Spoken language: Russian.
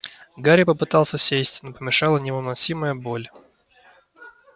гарри попытался сесть но помешала невыносимая боль